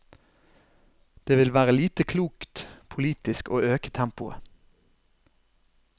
Det vil være lite klokt politisk å øke tempoet.